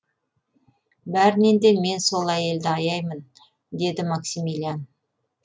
бәрінен де мен сол әйелді аяймын деді максимилиан